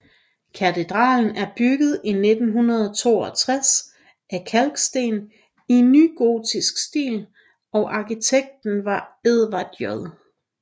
Katedralen blev bygget i 1962 af kalksten i nygotiks stil og arkitekten var Edward J